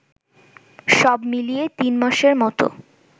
সবমিলিয়ে তিনমাসের মতো